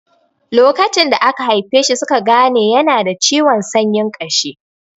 Lokacin da aka haife shi suka gane yana da ciwon sanyin ƙashi.